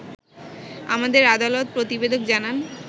আমাদের আদালত প্রতিবেদক জানান